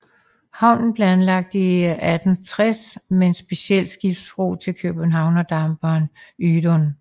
Havnen blev anlagt i 1860 med en speciel skibsbro til Københavndamperen Ydun